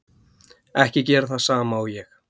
Ekki gera það sama og ég.